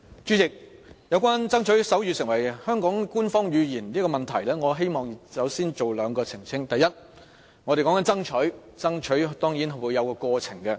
主席，有關"爭取手語成為香港官方語言"的問題，我希望先作出兩點澄清，第一，我們所說的是"爭取"，這當然是有其過程的。